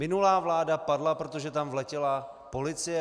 Minulá vláda padla, protože tam vletěla policie.